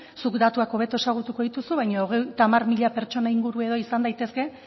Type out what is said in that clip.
zuk datuak hobeto ezagutuko dituzu baina hogeita hamar mila pertsona inguruen izan daitezke